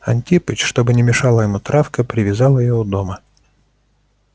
антипыч чтобы не мешала ему травка привязал её у дома